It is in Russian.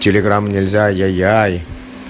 телеграмм нельзя ай-я-яй